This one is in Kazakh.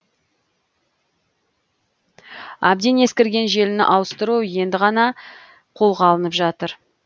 әбден ескірген желіні ауыстыру енді ғана қолға алынып жатыр